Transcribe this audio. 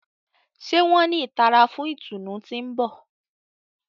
Ṣe wọn ni ìtara fún ìtùnú ti n bọ?